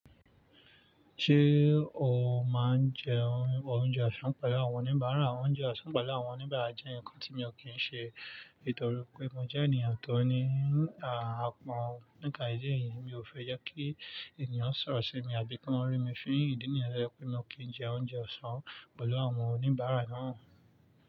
Ṣé o máa ń jẹ oúnjẹ ọ̀sán pẹ̀lú àwọn oníbàárà? Oúnjẹ ọ̀sán pẹ̀lú àwọn oníbàárà jẹ́ ǹkan tí mi ò kí ń ṣe, nítorí pé mo jẹ́ ènìyàn tó ní àpọ̀n. Nípa idi eyìí mi ò fẹ́ jẹ́ kí ènìyàn sọ̀rọ̀ sí mi àbí kí wọ́n rí mi fin ìdí nìyẹn to yẹ́ pé mi ò kí ń jẹ oúnjẹ ọ̀sán pẹ̀lú àwọn oníbàárà náà.